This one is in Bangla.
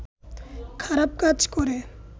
খারাপ কাজ করে